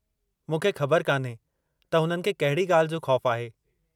मूंखे ख़बर कान्हे त हुननि खे कहिड़ी ॻाल्हि जो ख़ौफ़ु आहे।